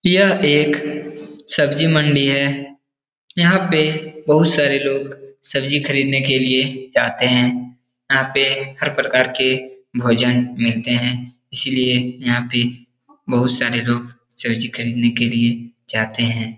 यह एक सब्जी मंडी है यहाँ पे बहुत सारे लोग सब्जी खरीदनें के लिये जाते हैं यहाँ पे हर प्रकार के भोजन मिलते हैं इसीलिए यहाँ पे बहोत सारे लोग सब्जी खरीदने के लिए जाते हैं।